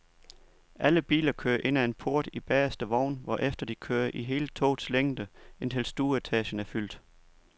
Alle biler kører ind ad en port i bagerste vogn, hvorefter de kører i hele togets længde, indtil stueetagen er fyldt.